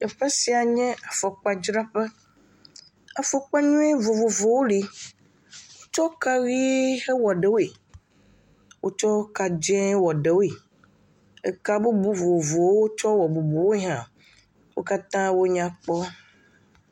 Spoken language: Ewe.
Teƒe sia nye afɔkpadzraƒe, afɔkpa nyui vovovowo le, wotsɔ kaʋe, wɔ ɖewoe, wo tsɔ ka dzee wɔ ɖewoe, eka bubu vovovowo wotsɔ wɔ ɖewoe hã, wo katã wonyakpɔ.